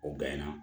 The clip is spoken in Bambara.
O bɛɛ na